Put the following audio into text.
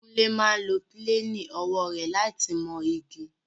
Kúnlé máa ń lo píléènì owó rẹ̀ láti mọ igi